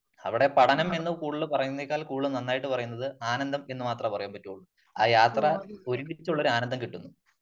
അവിടെ പഠനം എന്ന് കൂടുതൽ പറയുന്നതിനെക്കാൾ കൂടുതൽ നന്നായിട്ട് പറയുന്നത് ആനന്ദം എന്ന് മാത്രമേ പറയാൻ പറ്റുളളു. ആ യാത്ര ഒരുമിച്ചുള്ള ഒരു ആനന്ദം കിട്ടുന്നു .